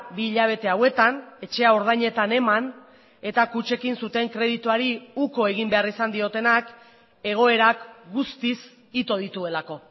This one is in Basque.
bi hilabete hauetan etxea ordainetan eman eta kutxekin zuten kredituari uko egin behar izan diotenak egoerak guztiz ito dituelako